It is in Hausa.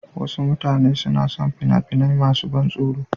Wasu mutane suna son fina-finai masu ban tsoro.